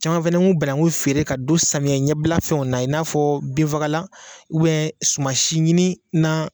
Caman fɛnɛ ku bananku feere ka don samiya ɲɛbila fɛnw na i 'a fɔ binfagalan suma si ɲini na.